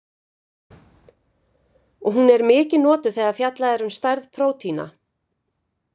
Hún er mikið notuð þegar fjallað er um stærð prótína.